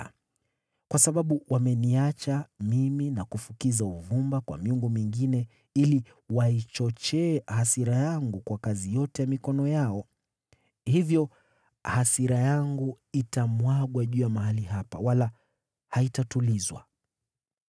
Kwa sababu wameniacha mimi na kufukiza uvumba kwa miungu mingine na kunighadhibisha kwa kazi yote ya mikono yao, hivyo hasira yangu itamwagwa juu ya mahali hapa, wala haitatulizwa.’